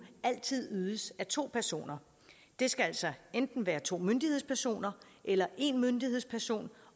altid ydes af to personer det skal altså enten være to myndighedspersoner eller en myndighedsperson